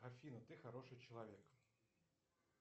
афина ты хороший человек